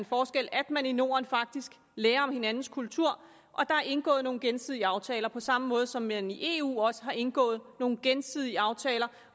forskel at man i norden faktisk lærer om hinandens kulturer og at der er indgået nogle gensidige aftaler på samme måde som man i eu også har indgået nogle gensidige aftaler